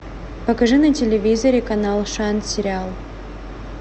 покажи на телевизоре канал шант сериал